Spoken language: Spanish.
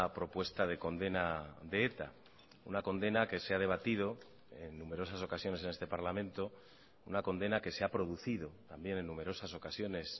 propuesta de condena de eta una condena que se ha debatido en numerosas ocasiones en este parlamento una condena que se ha producido también en numerosas ocasiones